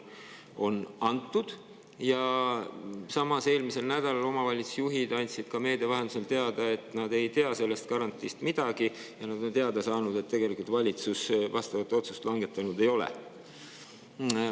Samas andsid eelmisel nädalal omavalitsusjuhid ka meedia vahendusel teada, et nad ei tea sellest garantiist midagi ja nad on teada saanud, et tegelikult valitsus vastavat otsust langetanud ei ole.